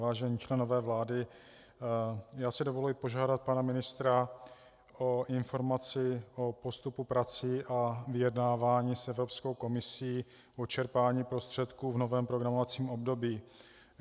Vážení členové vlády, já si dovoluji požádat pana ministra o informaci o postupu prací a vyjednávání s Evropskou komisí o čerpání prostředků v novém programovacím období.